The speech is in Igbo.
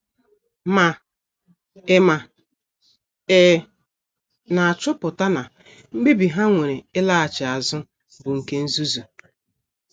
Ma ị Ma ị na - achọpụta na mkpebi ha mere ịlaghachi azụ bụ nke nzuzu.